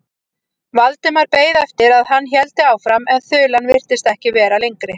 Valdimar beið eftir að hann héldi áfram en þulan virtist ekki vera lengri.